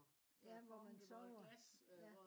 ja hvor man sover ja